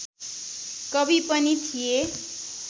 कवि पनि थिए